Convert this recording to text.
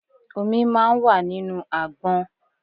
Omi máa ń wà nínú àgbọn.